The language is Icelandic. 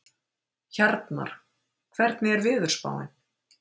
Hjarnar, hvernig er veðurspáin?